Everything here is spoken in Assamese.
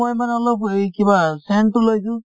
মই মানে অলপ এই কিবা sent তো লৈছো